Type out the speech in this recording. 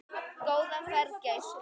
Góða ferð, gæskur.